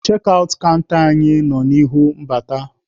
Chekị aụt kanta anyị nọ n'ihu mbata.